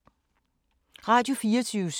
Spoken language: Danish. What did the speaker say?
Radio24syv